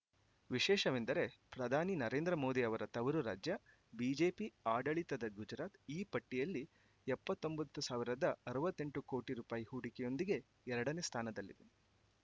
ವಿಶೇಷವೆಂದರೆ ಪ್ರಧಾನಿ ನರೇಂದ್ರ ಮೋದಿ ಅವರ ತವರು ರಾಜ್ಯ ಬಿಜೆಪಿ ಆಡಳಿತದ ಗುಜರಾತ್‌ ಈ ಪಟ್ಟಿಯಲ್ಲಿ ಎಪ್ಪತ್ತೊಂಬತ್ತು ಸಾವಿರದ ಅರವತ್ತೆಂಟು ಕೋಟಿ ರೂಪಾಯಿ ಹೂಡಿಕೆಯೊಂದಿಗೆ ಎರಡನೇ ಸ್ಥಾನದಲ್ಲಿ